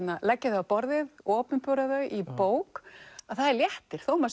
leggja þau á borðið opinbera þau í bók er léttir þó maður